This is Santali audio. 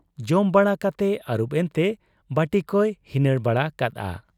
ᱡᱚᱢ ᱵᱟᱲᱟ ᱠᱟᱛᱮ ᱟᱹᱨᱩᱵ ᱮᱱᱛᱮ ᱵᱟᱹᱴᱤᱠᱚᱭ ᱦᱤᱱᱟᱹᱬ ᱵᱟᱲᱟ ᱠᱟᱫ ᱟ ᱾